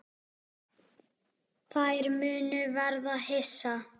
Þær munu verða hissa.